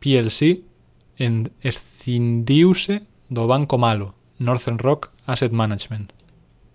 plc escindiuse do banco malo northern rock asset management